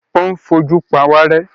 Ó ń fojú pawárẹ́.